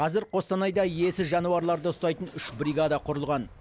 қазір қостанайда иесіз жануарларды ұстайтын үш бригада құрылған